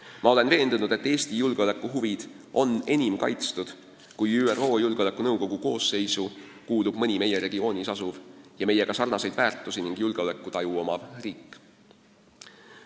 Ma olen veendunud, et Eesti julgeolekuhuvid on enim kaitstud, kui ÜRO Julgeolekunõukogu koosseisu kuulub mõni meie regioonis asuv ning meie omadega sarnaseid väärtushinnanguid ja julgeolekutaju omav riik.